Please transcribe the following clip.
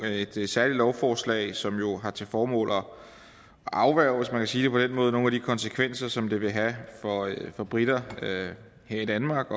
et særligt lovforslag som jo har til formål at afværge hvis man kan sige på den måde nogle af de konsekvenser som det vil have for briter her i danmark